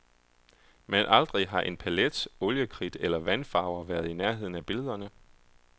Men aldrig har en palet, oliekridt eller vandfarver været i nærheden af billederne.